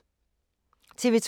TV 2